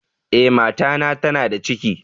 Eh, mata na tana da ciki.